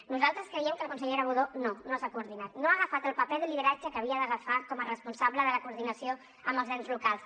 nosaltres creiem que la consellera budó no no s’ha coordinat no ha agafat el paper de lideratge que havia d’agafar com a responsable de la coordinació amb els ens locals